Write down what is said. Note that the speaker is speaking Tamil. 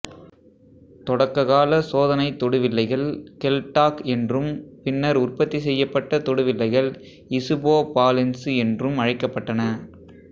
தொடக்கால சோதனை தொடு வில்லைகள் கெல்டாக்ட் என்றும் பின்னர் உற்பத்தி செய்யப்பட்ட தொடு வில்லைகள் இசுபோபாலென்சு என்றும் அழைக்கப்பட்டன